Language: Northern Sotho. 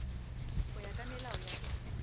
go ya ka melao ya